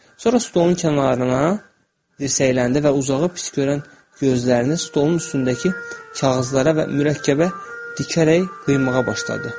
Sonra stolun kənarına dirsəkləndi və uzağı pis görən gözlərini stolun üstündəki kağızlara və mürəkkəbə dikərək qıymağa başladı.